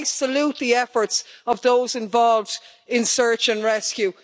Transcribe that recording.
So I salute the efforts of those involved in search and rescue.